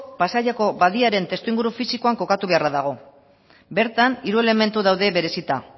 pasaiako badiaren testu inguru fisikoan kokatu beharra dago bertan hiru elementu daude berezita